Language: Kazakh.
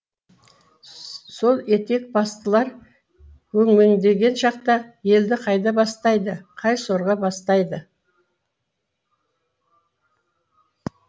сол етек бастылар өңмеңдеген шақта елді қайда бастайды қай сорға бастайды